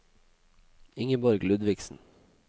Ingeborg Ludvigsen